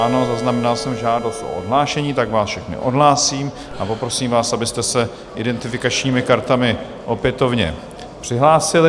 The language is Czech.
Ano, zaznamenal jsem žádost o odhlášení, tak vás všechny odhlásím a poprosím vás, abyste se identifikačními kartami opětovně přihlásili.